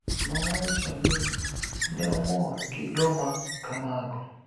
nowacho nii ni e omor gi joma kamago.